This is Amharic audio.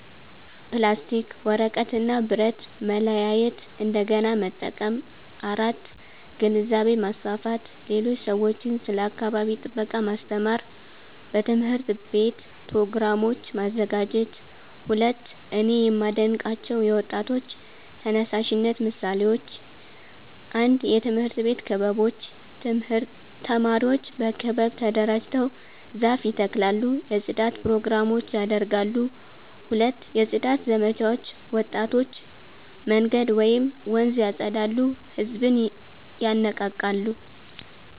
ፕላስቲክ፣ ወረቀት እና ብረት ማለያየት እንደገና መጠቀም 4. ግንዛቤ ማስፋፋት ሌሎች ሰዎችን ስለ አካባቢ ጥበቃ ማስተማር በትምህርት ቤት ፕሮግራሞች ማዘጋጀት 2)እኔ የማዴንቃቸው የወጣቶች ተነሳሽነት ምሳሌዎች 1 የትምህርት ቤት ክበቦች ተማሪዎች በክበብ ተደራጅተው ዛፍ ይተክላሉ የጽዳት ፕሮግራሞች ያደርጋሉ 2 የጽዳት ዘመቻዎች ወጣቶች መንገድ ወይም ወንዝ ያፀዳሉ ህዝብን ይነቃቃሉ